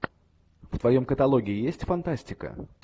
в твоем каталоге есть фантастика